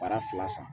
Baara fila san